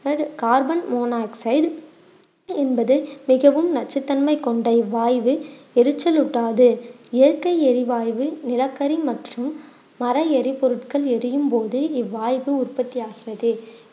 carbon monoxide என்பது மிகவும் நச்சுத்தன்மை கொண்ட இவ்வாய்வு எரிச்சல் ஊட்டாது இயற்கை எரிவாய்வு நிலக்கரி மற்றும் மர எரிபொருட்கள் எரியும்போது இவ்வாய்வு உற்பத்தி ஆகிறது